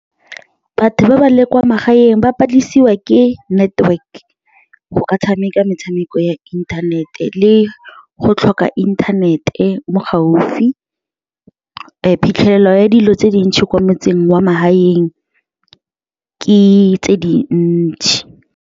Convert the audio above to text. Batho ba ba leng kwa magaeng ba palelisiwa ke network go ka tshameka metshameko ya inthanete le go tlhoka inthanete mo gaufi phitlhelelo ya dilo tse dintšhi kwa wa magaeng ke tse dintsi.